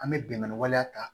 An bɛ bɛnnɛ waleya ta